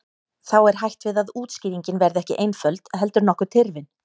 Þá er hætt við að útskýringin verði ekki einföld heldur nokkuð tyrfin.